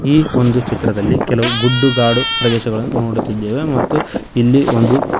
ಈ ಒಂದು ಚಿತ್ರದಲ್ಲಿ ಕೆಲವು ಗುಡ್ಡಗಾಡು ಪ್ರದೇಶಗಳನ್ನು ನೋಡುತ್ತಿದ್ದೇವೆ ಮತ್ತು ಇಲ್ಲಿ ಒಂದು--